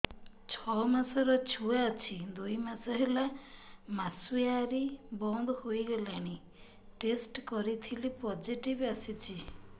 ଛଅ ମାସର ଛୁଆ ଅଛି ଦୁଇ ମାସ ହେଲା ମାସୁଆରି ବନ୍ଦ ହେଇଗଲାଣି ଟେଷ୍ଟ କରିଥିଲି ପୋଜିଟିଭ ଆସିଛି